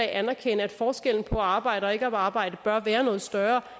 anerkender at forskellen på at arbejde og ikke at arbejde bør være noget større og